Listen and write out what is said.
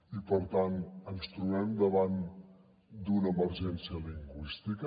i per tant ens trobem davant d’una emergència lingüística